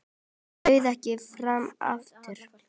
Hann bauð ekki fram aftur.